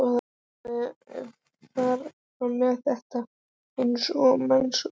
Lofaði að fara með þetta eins og mannsmorð.